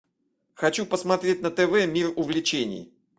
хочу посмотреть на тв мир увлечений